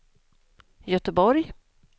Göteborg